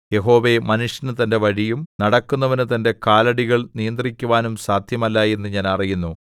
യഹോവേ മനുഷ്യന് തന്റെ വഴിയും നടക്കുന്നവനു തന്റെ കാലടികൾ നിയന്ത്രിക്കുവാനും സാദ്ധ്യമല്ല എന്ന് ഞാൻ അറിയുന്നു